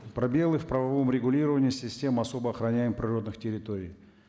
пробелы в правовом регулировании системы особо охроняемых природных территорий